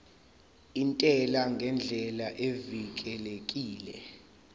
intela ngendlela evikelekile